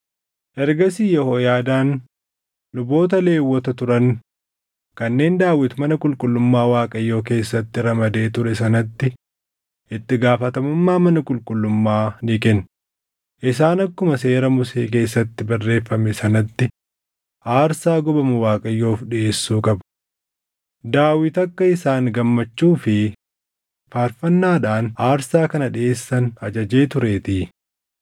Ergasii Yehooyaadaan luboota Lewwota turan kanneen Daawit mana qulqullummaa Waaqayyoo keessatti ramadee ture sanatti itti gaafatamummaa mana qulqullummaa ni kenne; isaan akkuma Seera Musee keessatti barreeffame sanatti aarsaa gubamu Waaqayyoof dhiʼeessuu qabu; Daawit akka isaan gammachuu fi faarfannaadhaan aarsaa kana dhiʼeessan ajajee tureetii.